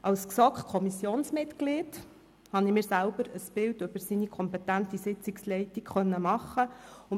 Als GSoK-Kommissionsmitglied habe ich mir selber ein Bild über seine kompetente Sitzungsleitung machen können.